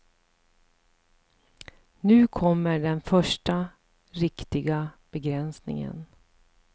Nu kommer den första riktiga begränsningen.